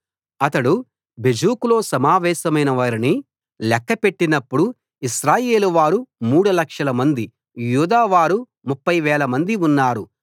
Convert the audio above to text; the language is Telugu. అతడు బెజెకులో సమావేశమైన వారిని లెక్కపెట్టినప్పుడు ఇశ్రాయేలు వారు మూడు లక్షల మంది యూదావారు 30 వేల మంది ఉన్నారు